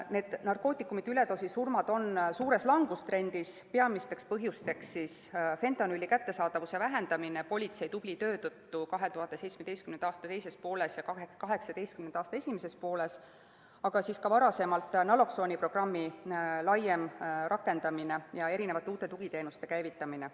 Need narkootikumide üledoosist tingitud surmad on suures langustrendis, peamisteks põhjusteks fentanüüli kättesaadavuse vähenemine politsei tubli töö tõttu 2017. aasta teises pooles ja 2018. aasta esimeses pooles, aga ka varem naloksooniprogrammi laiem rakendamine ja uute tugiteenuste käivitamine.